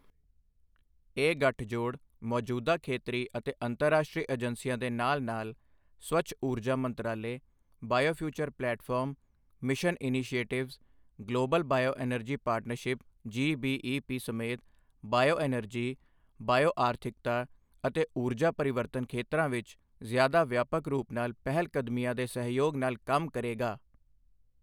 ਇਹ ਗਠਜੋੜ ਮੌਜੂਦਾ ਖੇਤਰੀ ਅਤੇ ਅੰਤਰਰਾਸ਼ਟਰੀ ਏਜੰਸੀਆਂ ਦੇ ਨਾਲ ਨਾਲ ਸਵੱਛ ਊਰਜਾ ਮੰਤਰਾਲੇ biofuture platform, mission initiatives, global bioenergy partnership GBEP ਸਮੇਤ ਬਾਇਓਐਨਰਜੀ, ਬਾਇਓ ਆਰਥਿਕਤਾ ਅਤੇ ਊਰਜਾ ਪਰਿਵਰਤਨ ਖੇਤਰਾਂ ਵਿੱਚ ਜ਼ਿਆਦਾ ਵਿਆਪਕ ਰੂਪ ਨਾਲ ਪਹਿਲਕਦਮੀਆਂ ਦੇ ਸਹਿਯੋਗ ਨਾਲ ਕੰਮ ਕਰੇਗਾ।